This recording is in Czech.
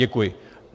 Děkuji.